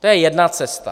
To je jedna cesta.